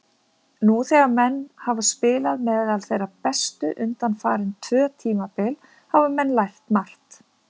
Nú þegar menn hafa spilað meðal þeirra bestu undanfarin tvö tímabil hafa menn lært margt.